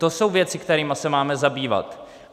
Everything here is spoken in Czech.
To jsou věci, kterými se máme zabývat.